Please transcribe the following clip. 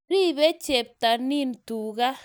Ribe cheptonin tuga